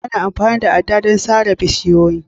Ana amfani da ada don sare bishiyoyi